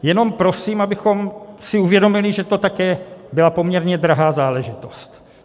Jenom prosím, abychom si uvědomili, že to také byla poměrně drahá záležitost.